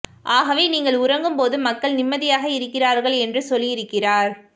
ஆகவே நீங்கள் உறங்கும் போது மக்கள் நிம்மதியாக இருக்கிறார்கள் என்று சொல்லியிருக்கிறார்